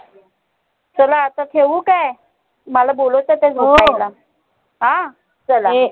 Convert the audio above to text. चला आता ठेऊ काय? मला बोलावतात अं चाला